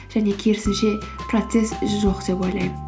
және керісінше процесс жоқ деп ойлаймын